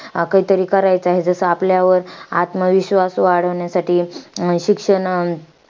काहीतरी करायचं आहे. जसं आपल्यावर आत्मविश्वास वाढवण्यासाठी, शिक्षण अं